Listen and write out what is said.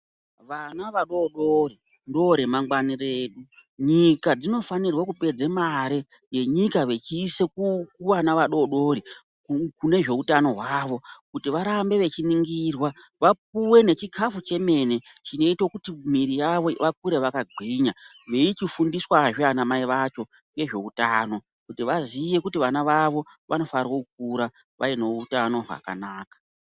Vana vadoodori ndoremangwani redu. Nyika dzinofanirwe kupedze mare yenyika vechiise kuvana vadori dori kune zveutano hwavo kuti varambe vechiningirwa. Vapuwe nechikafu chemene chinoite kuti miviri yavo vakure vakagwinya. Veichifundiswazve anamai vacho ngezveutano kuti vaziye kuti vana vavo vanofanirwo kukura vane utano hwakanaka.